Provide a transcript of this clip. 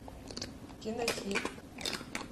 кинохит